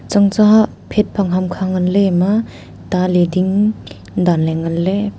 tsang tsa phat phang ham ngan le ema ta lading danle nganle.